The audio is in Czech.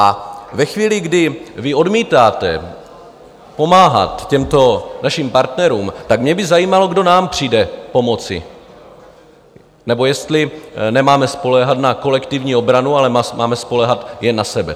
A ve chvíli, kdy vy odmítáte pomáhat těmto našim partnerům, tak mě by zajímalo, kdo nám přijde pomoci, nebo jestli nemáme spoléhat na kolektivní obranu, ale máme spoléhat jen na sebe.